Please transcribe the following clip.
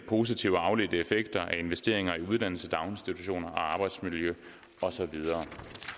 positive og afledte effekter af investeringer i uddannelse daginstitutioner og arbejdsmiljø og så videre